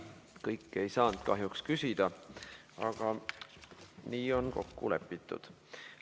Kõik ei saanud kahjuks küsida, aga nii on kokku lepitud.